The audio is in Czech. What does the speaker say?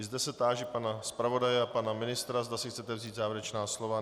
I zde se táži pana zpravodaje a pana ministra, zda si chcete vzít závěrečná slova.